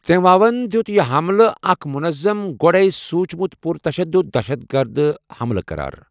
ژنہواوَن دِیُت یہِ حملہٕ 'اکھ منظم، گۄڈٕے سوٗنٛچھ مُت پرتشدد دہشت گرد حملہٕ' قرار۔